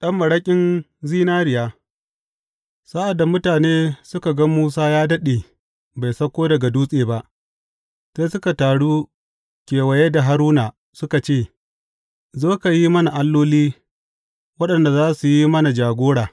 Ɗan maraƙin zinariya Sa’ad da mutane suka ga Musa ya daɗe bai sauko daga dutse ba, sai suka taru kewaye da Haruna suka ce, Zo, ka yi mana alloli waɗanda za su yi mana jagora.